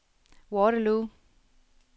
Waterloo